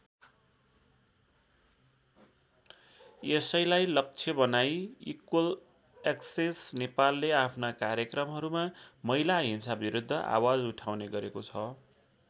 यसैलाई लक्ष्य बनाइ इक्वल एक्सेस नेपालले आफ्ना कार्यक्रमहरूमा महिला हिंसाविरुद्ध आवाज उठाउने गरेको छ।